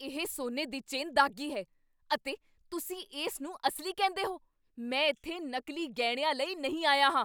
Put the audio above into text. ਇਹ ਸੋਨੇ ਦੀ ਚੇਨ ਦਾਗ਼ੀ ਹੈ ਅਤੇ ਤੁਸੀਂ ਇਸ ਨੂੰ ਅਸਲੀ ਕਹਿੰਦੇ ਹੋ? ਮੈਂ ਇੱਥੇ ਨਕਲੀ ਗਹਿਣਿਆਂ ਲਈ ਨਹੀਂ ਆਇਆ ਹਾਂ!